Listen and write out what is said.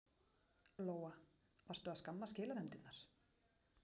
Lóa: Varstu að skamma skilanefndirnar?